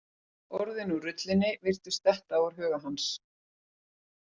Orðin úr rullunni virtust detta úr huga hans.